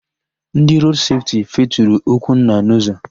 Ndị Rood Sefti feturu Okwunna n'ụzọ.